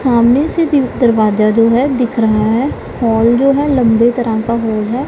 सामने से दीव दरवाजा जो है दिख रहा है हॉल जो है लंबे तरह का हॉल है।